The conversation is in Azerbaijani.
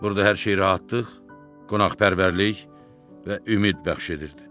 Burda hər şey rahatlıq, qonaqpərvərlik və ümid bəxş edirdi.